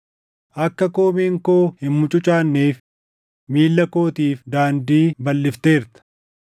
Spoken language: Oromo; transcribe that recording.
Akka koomeen koo hin mucucaanneef, miilla kootiif daandii balʼifteerta.